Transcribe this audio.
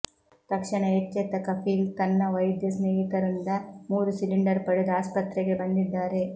ತಕ್ಷಣ ಎಚ್ಚೆತ್ತ ಕಫೀಲ್ ತಮ್ಮ ವೈದ್ಯ ಸ್ನೇಹಿತರಿಂದ ಮೂರು ಸಿಲಿಂಡರ್ ಪಡೆದು ಆಸ್ಪತ್ರೆಗೆ ಬಂದಿದ್ದಾರೆ